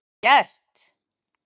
Vel gert